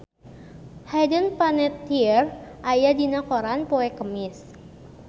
Hayden Panettiere aya dina koran poe Kemis